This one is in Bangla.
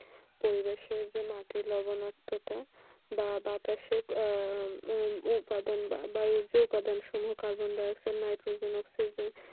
পরিবেশে যে মাটি লবণাক্ততা বা বাতাসের উপাদান বা বায়ু বায়ু যে উপাদান carbon dioxide nitrogen oxide